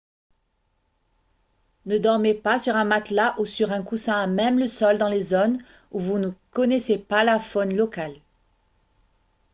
ne dormez pas sur un matelas ou sur un coussin à même le sol dans les zones où vous ne connaissez pas la faune locale